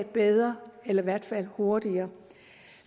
bedre eller i hvert fald hurtigere